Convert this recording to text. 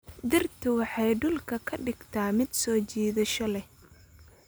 Dhirtu waxay dhulka ka dhigtaa mid soo jiidasho leh.